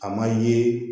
A ma ye